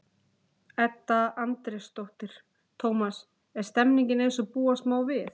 Edda Andrésdóttir: Tómas, er stemningin eins og búast má við?